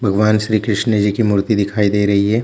भगवान श्री कृष्ण जी की मूर्ति दिखाई दे रही हैं ।